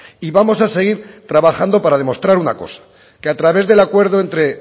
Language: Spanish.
y vamos a seguir trabajando para demostrar una cosa que a través del acuerdo entre